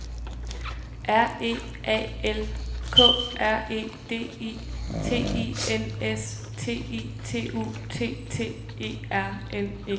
R E A L K R E D I T I N S T I T U T T E R N E